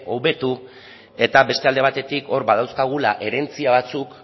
hobetu eta beste alde batetik hor badauzkagula herentzia batzuk